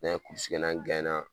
N'an kɛ n'a